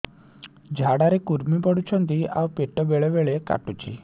ଝାଡା ରେ କୁର୍ମି ପଡୁଛନ୍ତି ଆଉ ପେଟ ବେଳେ ବେଳେ କାଟୁଛି